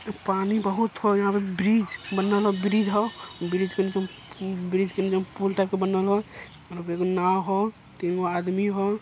पानी बहुत ह यहाँ पर ब्रिज बनल ह ब्रिज ह ब्रिज के निचे -ब्रिज के नीचे पुल टाइप के बनल ह एगो नाव ह तीन गो आदमी ह।